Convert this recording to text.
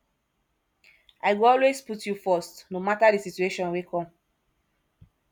i go always put you first no mata di situation wey come